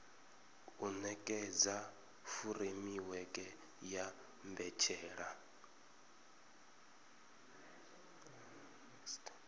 u nekedza furemiweke ya mbetshelwa